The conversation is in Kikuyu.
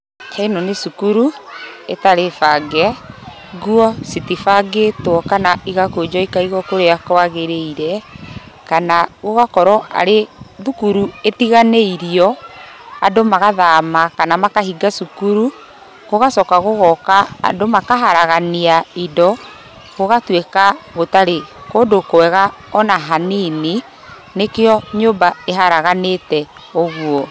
Ĩno nĩ cukuru, ĩtarĩbange, nguo cĩtibangĩtwo kana ĩgakũnjwo ikaiguo kũrĩa kwagĩrĩire, kana gũgakorwo arĩ thukuru ĩtiganĩirio andũ magathama, kana makahinga cukuru gũgacoka gũgoka andũ makaharagania indo gũgatuĩka gũtarĩ kũndũ kwega ona hanini, nĩkĩo nyũmba ĩharaganĩte ũguo.